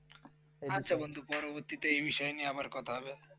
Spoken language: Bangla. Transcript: আচ্ছা বন্ধু পরবর্তীতে এই বিষয় নিয়ে আবার কথা হবে ।